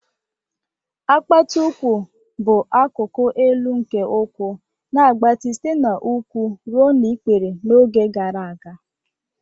Apata ukwu bụ akụkụ elu nke ụkwụ, na-agbatị site n'úkwù ruo n'ikpere n'oge gara aga.